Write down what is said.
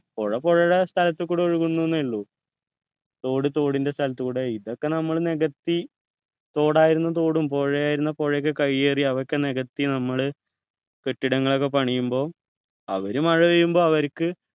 പുഴ പുഴയുടെ സ്ഥലത്തു കൂടെ ഒഴുകുന്നു എന്നേ ഉള്ളൂ തോട് തോടിൻ്റെ സ്ഥലത്തൂടെ ഇതൊക്കെ നമ്മള് നികത്തി തോടായിരുന്ന തോടും പുഴയായിരുന്ന പുഴയൊക്കെ കൈയേറി അതൊക്കെ നികത്തി നമ്മള് കെട്ടിടങ്ങളൊക്കെ പണിയുമ്പോ അവര് മഴപെയ്യുമ്പോ അവര്ക്ക്